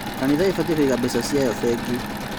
Kanitha ĩbatiĩ kũiga mbeca ciayo bengi